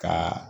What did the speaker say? Ka